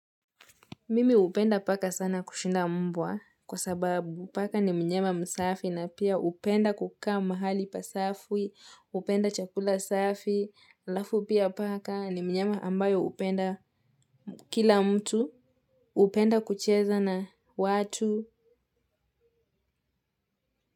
Mimi hupenda paka sana kushinda mbwa kwa sababu paka ni myama msafi na pia hupenda kukaa mahali pa safi hupenda chakula safi halafu pia paka ni mnyama ambaye hupenda kila mtu hupenda kucheza na watu.